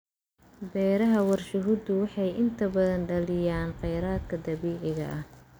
Beeraha warshaduhu waxay inta badan daaliyaan kheyraadka dabiiciga ah.